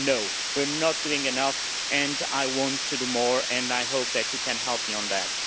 No, we are not doing enough. I want to do more and I hope that you can help me on that.